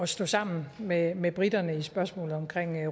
stå sammen med med briterne i spørgsmålet om